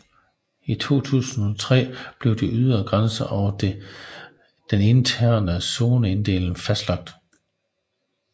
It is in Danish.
I 2003 blev de ydre grænser og den interne zoneinddeling fastlagt